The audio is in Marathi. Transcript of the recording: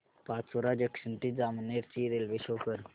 पाचोरा जंक्शन ते जामनेर ची रेल्वे शो कर